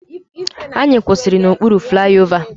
Anyị kwụsịrị n'okpuru flaiova.